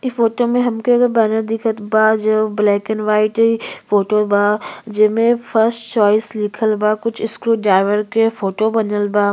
इ फोटो में हमके एक बैनर दिखत बा जो ब्लैक एंड वाइट फोटो बा। जेमे फर्स्ट चॉइस लिखल बा। कुछ स्क्रूड्राइवर के फोटो बनल बा।